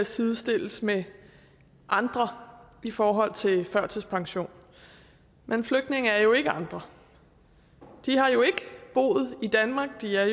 sidestilles med andre i forhold til førtidspension men flygtninge er jo ikke andre de har jo ikke boet i danmark de er